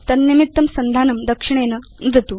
तन्निमित्तं सन्धानं दक्षिणेन नुदतु